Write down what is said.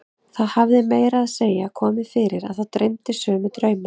Það hafði meira að segja komið fyrir að þá dreymdi sömu drauma.